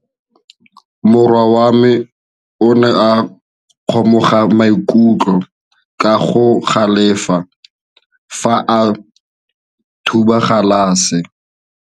Morwa wa me o ne a kgomoga maikutlo ka go galefa fa a thuba galase.